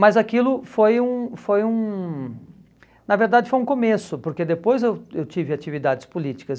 Mas aquilo foi um... foi um... na verdade foi um começo, porque depois eu eu tive atividades políticas.